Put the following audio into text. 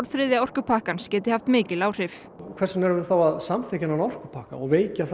þriðja orkupakkans geti haft mikil áhrif hvers vegna erum við þá að samþykkja þennan orkupakka og veikja